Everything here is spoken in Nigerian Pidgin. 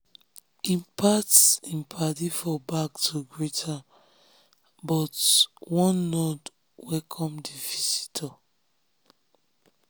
he pat him paddy for back to greet am but one nod welcome the visitor.